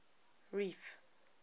reef